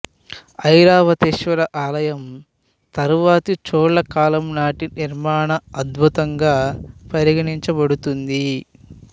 ఐరావతేశ్వర ఆలయం తరువాతి చోళ కాలం నాటి నిర్మాణ అద్భుతంగా పరిగణించబడుతుంది